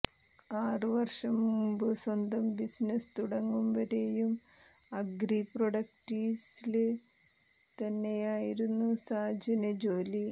ആറ് വര്ഷം മുമ്പ് സ്വന്തം ബിസിനസ് തുടങ്ങും വരെയും അഗ്രി പ്രൊഡക്ട്സില് തന്നെയായിരുന്നു സാജന് ജോലി